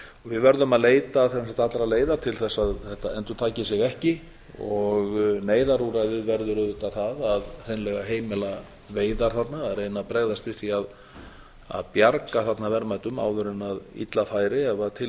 við verðum helst að leita allra leiða til að þetta endurtaki sig ekki og neyðarúrræðið verður auðvitað það að hreinlega heimila veiðar þarna reyna að bregðast við því að bjarga þarna verðmætum áður en illa færi ef til